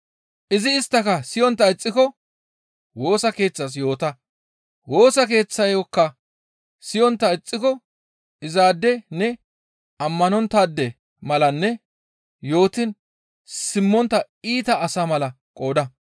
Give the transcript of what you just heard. Izi isttaka siyontta ixxiko Woosa Keeththas yoota; Woosa Keeththayokka siyontta ixxiko izaade ne ammanonttaade malanne yootiin simmontta iita asa mala qooda.